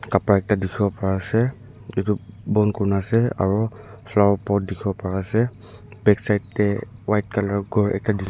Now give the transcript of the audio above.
Kapra ekta dekhiwo pari ase etu bon kurina ase aro flower pot dekhibo pari ase backside tey white colour gor ekta dekhi--